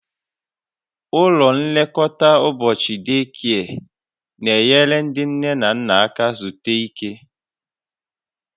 Ụlọ nlekọta ụbọchị deekie n'enyere ndị nne na nna aka zutu ike